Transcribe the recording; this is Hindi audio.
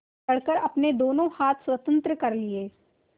पकड़कर अपने दोनों हाथ स्वतंत्र कर लिए